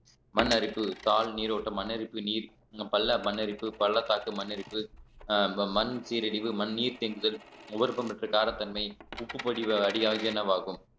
மண் அரிப்பு தாள் நீரோட்டம் மண்ணரிப்பு நீர் பள்ள மண் அரிப்பு பள்ளத்தாக்கு மண் அரிப்பு மண் சீரழிவு மண்நீர் தேங்குதல் முகர்ப்பம்பெற்ற காரத்தன்மை உப்புப்படிய அடியாகிய என்னவாகும்